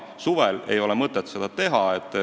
Suvel ei ole mõtet seda teha.